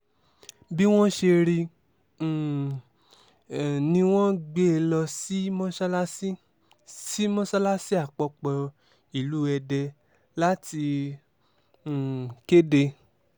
bí wọ́n ṣe rí um i ni wọ́n gbé e lọ sí mọ́sálásì sí mọ́sálásì àpapọ̀ ìlú èdè láti um kéde